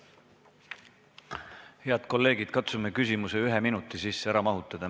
Head kolleegid, Katsume küsimuse ühe minuti sisse ära mahutada.